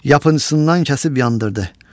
Yapıncısından kəsib yandırdı.